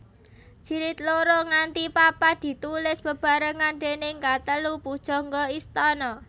Jilid loro nganti papat ditulis bebarengan déning katelu pujangga istana